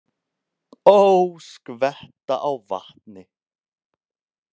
Ó, skvetta á vatni.